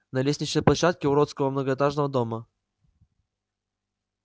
на лестничной площадке уродского многоэтажного дома